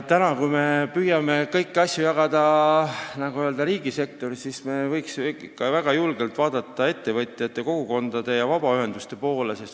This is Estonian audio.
Me püüame kõiki asju jagada, nagu öeldakse, riigisektoris, aga me võiksime ikka väga julgelt vaadata ettevõtjate, kogukondade ja vabaühenduste poole.